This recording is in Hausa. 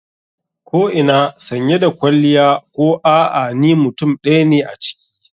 Ko ina sanye da kwalliya ko a'a ni mutum ɗaya ne a ciki.